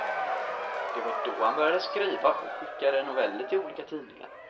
Det var då han började skriva och skickade noveller till olika tidningar.